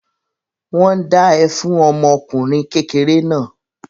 Wọ́n ń dá ẹ fún ọmọ ọkùnrin kékeré náà.